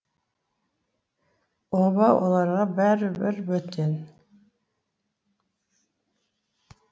оба оларға бәрі бір бөтен